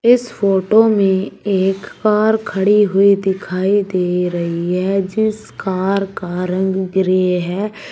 इस फोटो में एक कार खड़ी हुई दिखाई दे रही है जिस कार का रंग ग्रे है।